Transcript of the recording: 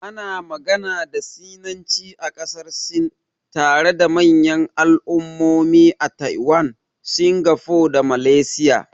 Ana magana da Sinanci a ƙasar Sin, tare da manyan al'ummomi a Taiwan, Singapore da Malaysia.